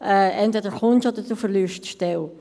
«Entweder kommst du oder du verlierst die Stelle.